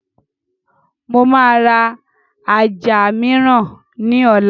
Mo máa ra ajá mìíràn ní ọ̀la